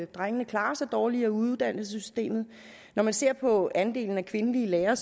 drengene klarer sig dårligere i uddannelsessystemet når man ser på andelen af kvindelige lærere